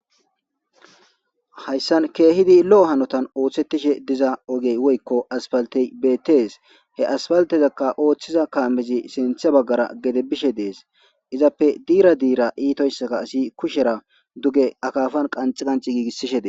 Hayssan keehidi lo7o hanotan ooththettishe diza ogey woykko aspaltey beettees he aspaltezakka ooththiza kaamezi sinthe baggara gede bishe de7es izappe diira diira iitoyssaka asi kushera duge akaafan qanci qanci giigissishe dessi.